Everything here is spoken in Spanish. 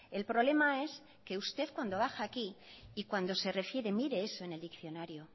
el problema es que usted cuando baja aquí y cuando se refiere mire eso en el diccionario